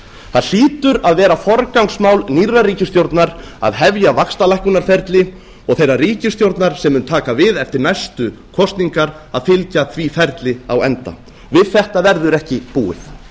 það hlýtur að vera forgangsmál nýrrar ríkisstjórnar að hefja vaxtalækkunarferli og þeirrar ríkisstjórnar sem mun taka við eftir næstu kosningar að fylgja því ferli á enda við þetta verður ekki búið